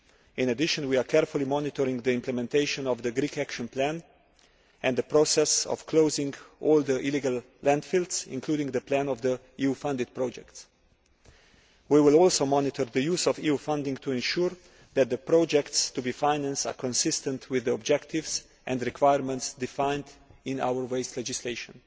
In addition, we are carefully monitoring the implementation of the Greek action plan and the process of closing all the illegal landfills, including the plan for the EU funded projects. We will also monitor the use of EU funding to ensure that the projects to be financed are consistent with the objectives and requirements defined in our waste legislation.